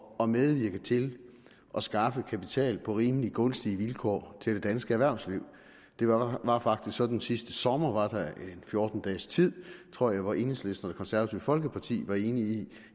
at medvirke til at skaffe kapital på rimeligt gunstige vilkår til det danske erhvervsliv det var faktisk sådan sidste sommer var en fjorten dages tid tror jeg hvor enhedslisten og det konservative folkeparti var enige i